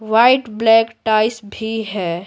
White black tiles भी है।